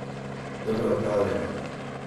Dobro opravljeno!